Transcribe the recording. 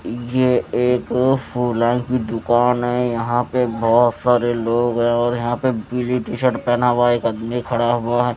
ये एक की दुकान है यहां पे बहुत सारे लोग हैं और यहां पे ब्ल्यू टी शर्ट पहना हुआ एक आदमी खड़ा हुआ है।